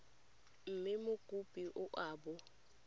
mme mokopi o a bo